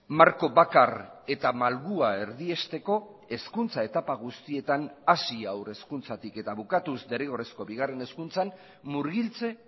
marko bakar eta malgua erdiesteko hezkuntza etapa guztietan hasi haur hezkuntzatik eta bukatuz derrigorrezko bigarren hezkuntzan murgiltze